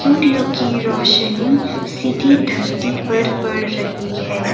सूर्यो की रोशनी सीधी धरती पर पड़ रही है।